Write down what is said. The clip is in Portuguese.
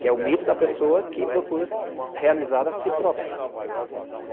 Que é o mito da pessoa que procura realizar a si própria.